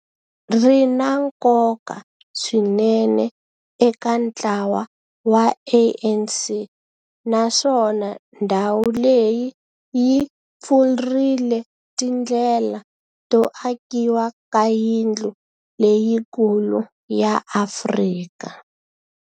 ri na nkoka swinene eka ntlawa wa ANC, naswona ndhawu leyi yi pfurile tindlela to akiwa ka yindlu leyikulu ya Afrika